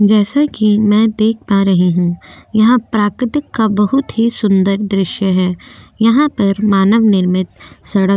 जैसे कि मैं देख पा रही हूँ यह प्रकृति का बहोत ही सुंदर दॄश्य है यहाँ पर मानव निर्मित सड़क --